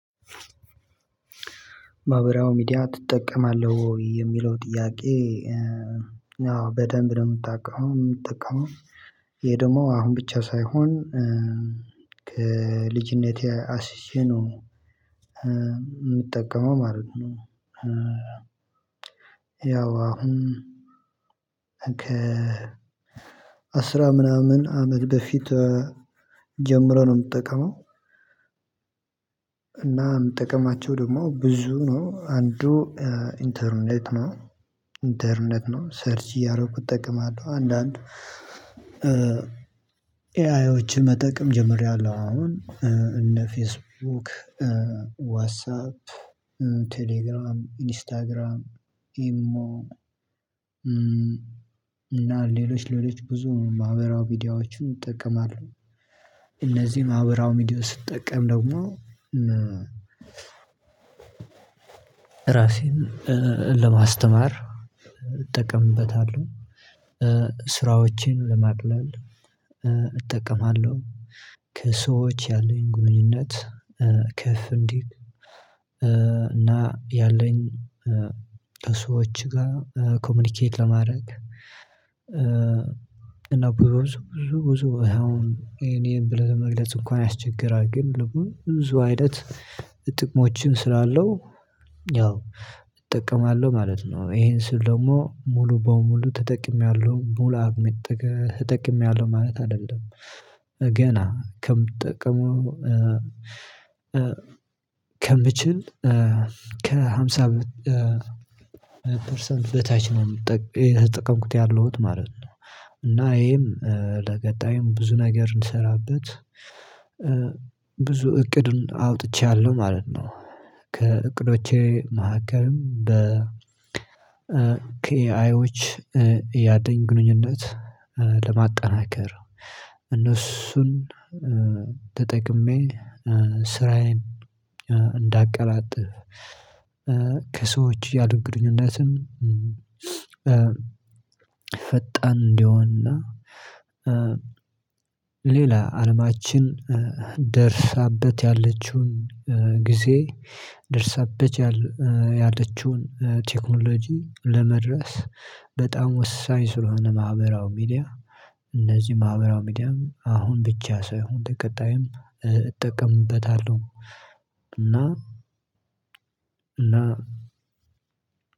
ማህበራዊ ሚዲያ ትጠቀማለህ ወይ የሚለው ጥያቄ አዎ በደንብ ነው ምጠቀመው ይሄ ደግሞ አሁን ብቻ ሳይሆን ከልጅነቴ አስቼ ነው ምጠቀመው ማለት ነው ያው አሁን አስራ ምናምን አመት በፊት ጀምሮ ነው ምጠቀመው እና ምጠቀማቸው ደግሞ ብዙ ነው አንዱ ኢንተርኔት ነው። ኢንተርኔት ነው ሰርች እያረኩ እጠቀማለሁ አንዳንድ ኤአዮችን መጠቀም ጀምሬያለሁ አሁን እነ ፌስቡክ ዋሳፕ ቴሌግራም ኢንስታግራም ኢሞ እና ሌሎች ሌሎች ብዙ ማህበራዊ ሚዲያዎችን እጠቀማለው እነዚህ ማህበራዊ ሚዲያዎች ስትጠቀም ደግሞ ራሴን ለማስተማር እጠቀምበታለሁ። ስራዎቼን ለማቅለል እጠቀማለሁ። ከሰዎች ያሉኝ ግንኙነት ከፍ እንዲል እና ያለኝ ሰዎች ጋር ኮሚኒኬት ለማድረግ እና ብዙ ብዙ ብዙ አሁን ይሄን ይሄን ብለህ ለመግለጽ እንኳን ያስቸግራል ግን ብዙ አይነት ጥቅሞችን ስላለው ያው እጠቀማለው ማለት ነው ይሄን ስል ደግሞ ሙሉ በሙሉ ተጠቅሜያለሁ ሙሉ አቅሜ ተጠቅሜያለው። ማለት አይደለም። ገና ከምጠቀመው ከምችል ከሃምሳ ፐርሰንት በታች ነው የተጠቀምኩት ያለሁት ማለት ነው እና ይሄም ለቀጣዩም ብዙ ነገር እንድሰራበት ብዙ እቅዱን አውጥቻለሁ ማለት ነው። ከእቅዶቼ መሀከልም ከኤአዮች ያለኝ ግንኙነት ለማጠናከር እነሱን ተጠቅሜ ስራዬን እንዳቀላጥፍ ከሰዎች ያሉኝ ግንኙነትም ፈጣን እንዲሆንና ሌላ አለማችን ደርሳበት ያለችውን ጊዜ ደርሳበት ያለችውን ቴክኖሎጂ ለመድረስ በጣም ወሳኝ ስለሆነ ማህበራዊ ሚዲያ እነዚህ ማህበራዊ ሚዲያ አሁን ብቻ ሳይሆን ለቀጣይም እጠቀምበታለሁ እና እና